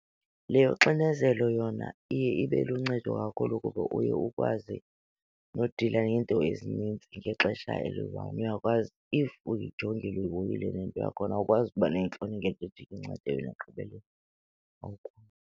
Le yoxinezelo yona iye ibe luncedo kakhulu kuba uye ukwazi nodila neento ezinintsi ngexesha eliyi-one, uyakwazi. If uyijongile uyihoyile le nto yakhona awukwazi ukuba neentloni ngento ethi ikuncede wena ekugqibeleni .